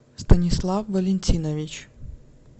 станислав валентинович